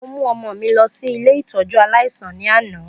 Mo mu ọmọ mi lọ si ile ìtójú aláísàn ni ana.